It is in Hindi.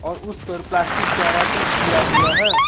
और उसपर प्लास्टिक का रैपिंग किया हुआ है।